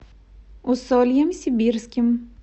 усольем сибирским